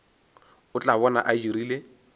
o tla bona a dirile